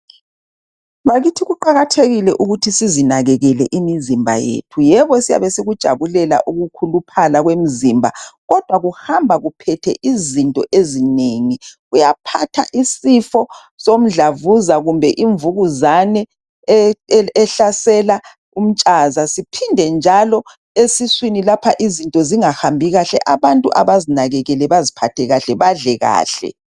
Bakithi kuqakathekile ukuthi sizinakekele imizimba yethu yebo syabe sikujabulela ukukhuluphala kwemzimba kodwa kuhamba kuphethe izinto ezinengi uyaphatha isifo soMdlavuza kumbe iMvukuzane e ehlasela umtshaza siphende njalo esiswini lapha izinto zingahambi kahle abantu abazinakekele baziphathe kahle badle kahle.